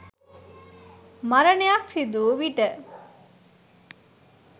මරණයක් සිදු වූ විට